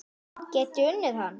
Get ég unnið hann?